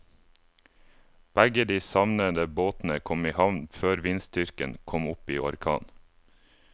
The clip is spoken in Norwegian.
Begge de savnede båtene kom i havn før vindstyrken kom opp i orkan.